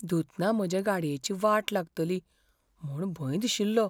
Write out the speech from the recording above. धुतना म्हजे गाडयेची वाट लागतली म्हूण भंय दिशिल्लो.